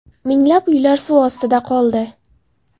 Minglab uylar suv ostida qoldi.